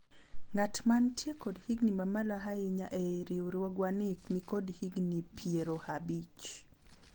ng'at mantie kod higni mamalo ahinya e riwruogwa nikod higni piero abich